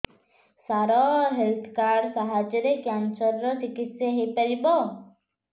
ସାର health card ସାହାଯ୍ୟରେ cancer ର ଚିକିତ୍ସା ହେଇପାରିବ